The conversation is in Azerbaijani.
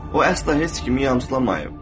O əsla heç kimi yamsılamayıb.